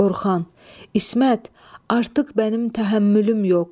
Orxan, İsmət, artıq mənim təhəmmülüm yox.